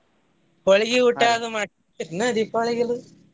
ಹೊಳ್ಗಿ ಊಟದು ಮಾಡ್ತೇರಿ ಏನ ದೀಪಾವಳಿಗದು?